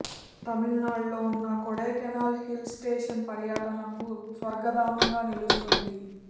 తమిళనాడు లో వున్న Kodaikanal hill station పర్యాటకులకు స్వర్గధామంగా నిలుస్తుంది